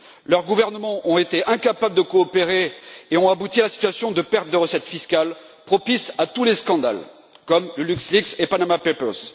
Leurs gouvernements ont été incapables de coopérer et ont abouti à la situation de perte de recettes fiscales propice à tous les scandales, comme LuxLeaks et Panama Papers.